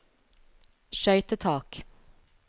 skøytetak